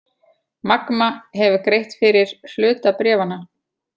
Magma hefur greitt fyrir hluta bréfanna